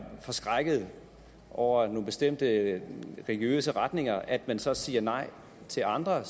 forskrækket over nogle bestemte religiøse retninger at man så siger nej til andre